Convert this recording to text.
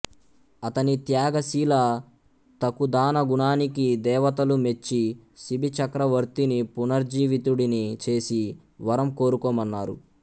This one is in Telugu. అతని త్యాగశీలతకుదానగుణానికి దేవతలు మెచ్చి శిబిచక్రవర్తిని పునర్జీవితుడిని చేసి వరం కోరుకోమన్నారు